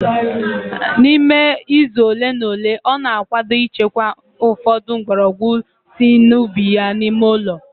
N'ime izu ole na ole, ọ na-akwado ịchekwa ụfọdụ mgbọrọgwụ sị n'ubi ya n'ime ụlọ